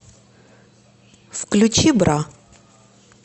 включи бра